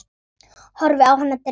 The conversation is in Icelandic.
Horfi á hana dreyma.